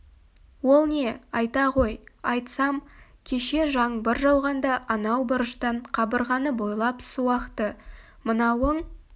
ол не айта ғой айтсам кеше жаңбыр жауғанда анау бұрыштан қабырғаны бойлап су ақты мынауың